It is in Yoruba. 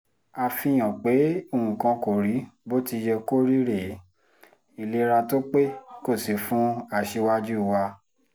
àfihàn pé nǹkan kò rí bó ti yẹ kó rí rèé ìlera tó pé kò sí fún aṣíwájú wa